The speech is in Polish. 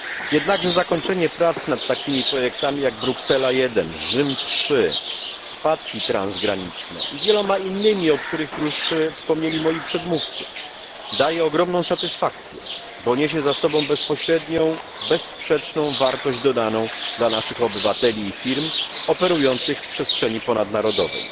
Jednakże zakończenie prac nad takimi projektami jak Bruksela I, Rzym III, spadki transgraniczne i wieloma innymi, o których już wspomnieli moi przedmówcy, daje ogromną satysfakcję, bo niesie ze sobą bezpośrednią, bezsprzeczną wartość dodaną dla naszych obywateli i firm operujących w przestrzeni ponadnarodowej.